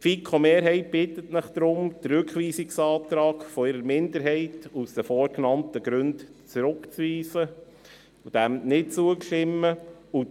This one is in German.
Die FiKo-Mehrheit bittet Sie deshalb, den Rückweisungsantrag der FiKo-Minderheit aus den vorgenannten Gründen zurückzuweisen und diesem nicht zuzustimmen.